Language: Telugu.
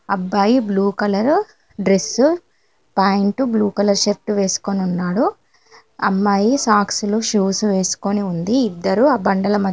అబ్బాయి blue colour dress pant blue colour shirt వేసుకొని ఉన్నాడు అమ్మాయి సాక్సు లు షూస్ వేసుకొని ఉంది ఇద్దరూ ఆ బండల--మ.